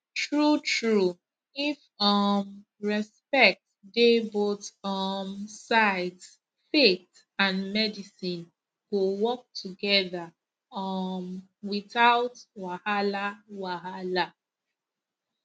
truetrue if um respect dey both um sides faith and medicine go work together um without wahala wahala